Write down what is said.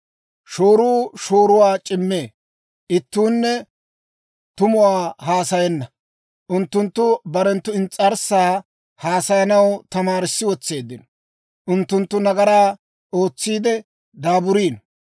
Shooruu shooruwaa c'immee; ittuunne tumuwaa haasayenna. Unttunttu barenttu ins's'arssaa haasayanaw tamaarissi wotseeddino. Unttunttu nagaraa ootsiide daaburiino.